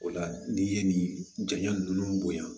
O la n'i ye nin jaɲa ninnu bonya